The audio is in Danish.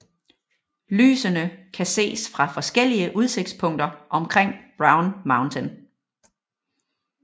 Lysene kan ses fra forskellige udsigtspunkter omkring Brown Mountain